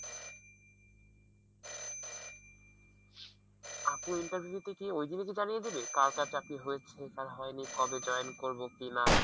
আপু interview তে কি ওই দিনে কি জানিয়ে দেবে? কার কার চাকরি হয়েছে? কার হয়নি? কবে জয়েন করবো কি না?